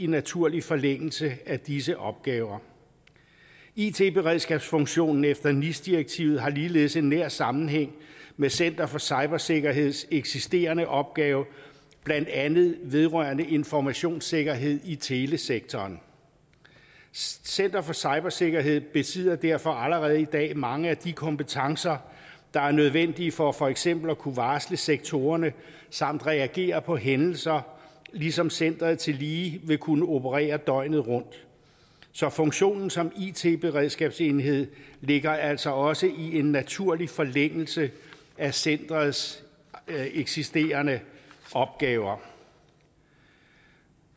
naturlig forlængelse af disse opgaver it beredskabsfunktionen efter nis direktivet har ligeledes en nær sammenhæng med center for cybersikkerheds eksisterende opgave blandt andet vedrørende informationssikkerhed i telesektoren center for cybersikkerhed besidder derfor allerede i dag mange af de kompetencer der er nødvendige for for eksempel at kunne varsle sektorerne samt reagere på hændelser ligesom centeret tillige vil kunne operere døgnet rundt så funktionen som it beredskabsenhed ligger altså også i en naturlig forlængelse af centerets eksisterende opgaver